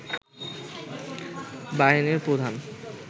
বাহিনীর প্রধান